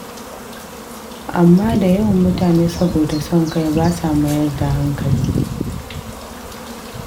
Amma da yawan mutane saboda son kai ba sa mayar da hankali.